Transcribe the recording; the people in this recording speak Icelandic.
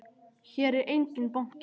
Hér er enginn banki!